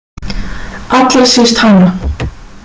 Allra síst hana.